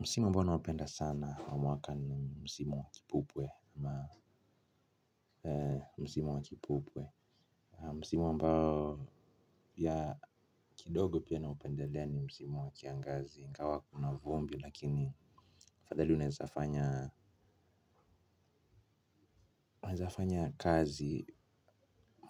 Msimu ambao naupenda sana wa mwaka ni msimu wa kipupwe. Msimu wa kipupwe msimu ambao ya kidogo pia naupendelea ni msimu wa kiangazi ingawa kuna vumbi lakini afadhali unezafanya kazi